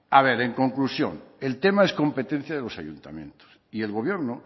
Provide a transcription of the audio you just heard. a ver en conclusión el tema es competencia de los ayuntamientos y el gobierno